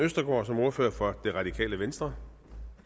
østergaard som ordfører for det radikale venstre